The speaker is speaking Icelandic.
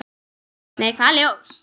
Nei, hvaða ljós?